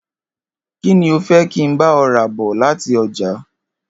Kí ni o fé̩ kí n bá o̩ rà bò̩ láti o̩jà?